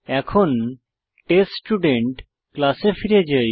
এখন টেস্টস্টুডেন্ট ক্লাসে ফিরে যাই